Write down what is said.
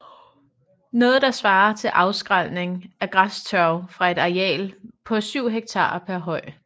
Noget der svarer til afskrælning af græstørv fra et areal på 7 hektar per høj